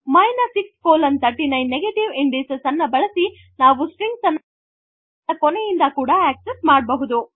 | |639 | negative indices ಅನ್ನು ಬಳಸಿ ನಾವು ಸ್ಟ್ರಿಂಗ್ಸ್ ಅನ್ನು ಕೊನೆಯಿಂದ ಕೂಡ ಅಕ್ಸೆಸ್ಸ್ ಮಾಡಬಹುದು